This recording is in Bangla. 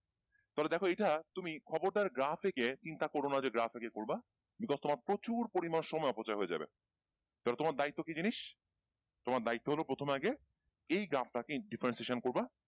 তাহলে দেখো এইটা তুমি খবরদার গ্রাফ একে চিন্তা করোনা যে গ্রাফ একে করবা because তোমার প্রচুর পরিমান সময় অপচয় হয়ে যাবে তাহলে তোমার দায়িত্ব কি জিনিস তোমার দায়িত্ব হলো প্রথমে আগে এই গ্রাফ টাকে differentiation করবা